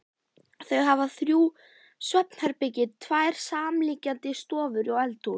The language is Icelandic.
Þau hafa þrjú svefnherbergi, tvær samliggjandi stofur og eldhús.